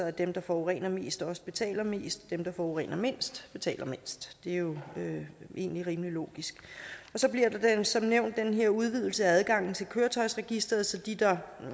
at dem der forurener mest også betaler mest dem der forurener mindst betaler mindst det er jo egentlig rimelig logisk så bliver der som nævnt den her udvidelse af adgangen til køretøjsregisteret så de der